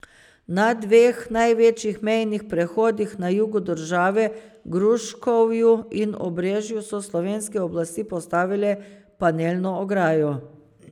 Na dveh največjih mejnih prehodih na jugu države, Gruškovju in Obrežju, so slovenske oblasti postavile panelno ograjo.